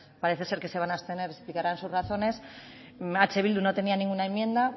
parece ser que se van a abstener explicarán sus razones eh bildu no tenía ninguna enmienda